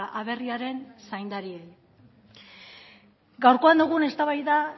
aberriaren zaindariei gaurkoan dugun eztabaida